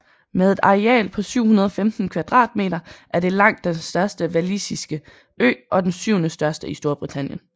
Med et areal på 715 km2 er det langt den største walisiske ø og den syvende største i Storbritannien